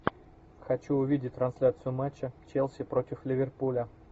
хочу увидеть трансляцию матча челси против ливерпуля